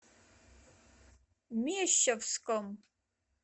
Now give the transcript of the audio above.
мещовском